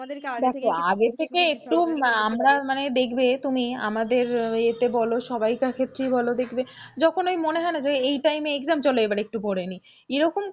দেখো আগে থেকে একটু আমরা মানে দেখবে তুমি আমাদের এতে বলো সবাইকার ক্ষেত্রেই বলো দেখবে যখন ঐ মনে হয়না যে এই time এ exam চলো এবার একটু পড়ে নিই।